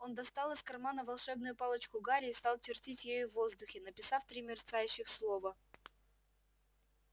он достал из кармана волшебную палочку гарри и стал чертить ею в воздухе написав три мерцающих слова